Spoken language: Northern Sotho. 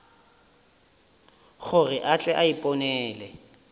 gore a tle a iponele